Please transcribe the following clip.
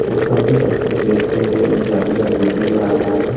Post office है उसके gate पे हमें एक जाली का गेट नजर आ रहा है।